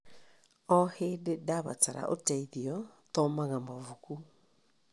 O hĩndĩ ndabatara ũteithio, thomaga mabuku.